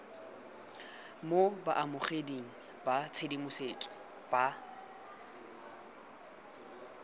mo baamogeding ba tshedimosetso ba